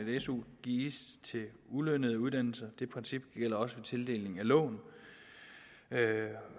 su gives til ulønnede i uddannelse det princip gælder også ved tildeling af lån